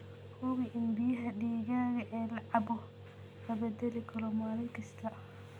Hubi in biyaha digaaga ee la cabbo la beddelo maalin kasta.